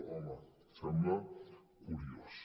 home sembla curiós